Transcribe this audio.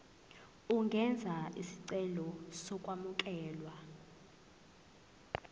ungenza isicelo sokwamukelwa